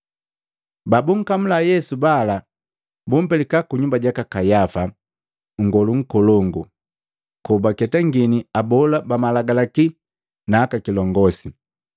Babunkamula Yesu bala bumpelika kunyumba jaka Kayafa, nngolu nkolongu, kobaketangini abola bamalagalaki na aka kilongosi.